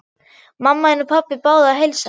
Mamma þín og pabbi báðu að heilsa.